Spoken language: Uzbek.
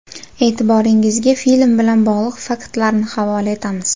E’tiboringizga film bilan bog‘liq faktlarni havola etamiz.